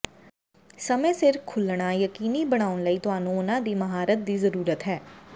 ਸਮੇਂ ਸਿਰ ਖੁੱਲ੍ਹਣਾ ਯਕੀਨੀ ਬਣਾਉਣ ਲਈ ਤੁਹਾਨੂੰ ਉਨ੍ਹਾਂ ਦੀ ਮਹਾਰਤ ਦੀ ਜ਼ਰੂਰਤ ਹੈ